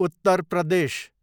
Uttar Pradesh